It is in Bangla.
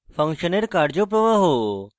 function এর কার্য প্রবাহ